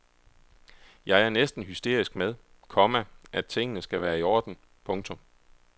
Jeg er næsten hysterisk med, komma at tingene skal være i orden. punktum